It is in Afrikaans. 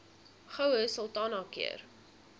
goue sultana keur